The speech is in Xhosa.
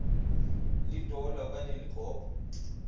litola okanye ligogo